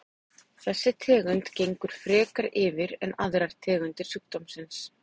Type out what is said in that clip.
Þessi tegund gengur frekar yfir en aðrar tegundir sjúkdómsins.